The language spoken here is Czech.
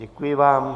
Děkuji vám.